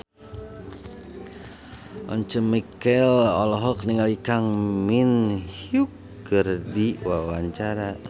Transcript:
Once Mekel olohok ningali Kang Min Hyuk keur diwawancara